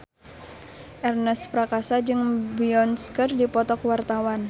Ernest Prakasa jeung Beyonce keur dipoto ku wartawan